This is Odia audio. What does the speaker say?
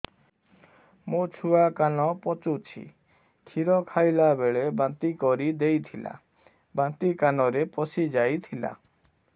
ମୋ ଛୁଆ କାନ ପଚୁଛି କ୍ଷୀର ଖାଇଲାବେଳେ ବାନ୍ତି କରି ଦେଇଥିଲା ବାନ୍ତି କାନରେ ପଶିଯାଇ ଥିଲା